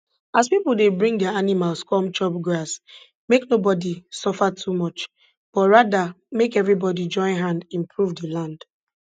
as pipo dey bring dia animals come chop grass make nobody suffer too much but rather make everybody join hand improve di land